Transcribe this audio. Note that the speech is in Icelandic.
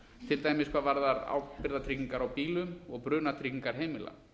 til dæmis hvað varðar ábyrgðartryggingar á bílum og brunatryggingar heimila